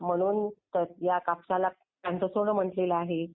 चांगलाच प्रकारे होत असते. हो. म्हणून या कापसाला. त्यांचं सोनं म्हटलेलं आहे.